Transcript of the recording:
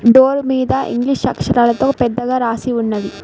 Door మీద English అక్షరాలతో పెద్దగా రాసి ఉన్నది.